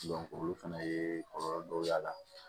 olu fɛnɛ ye kɔlɔlɔ dɔw y'a la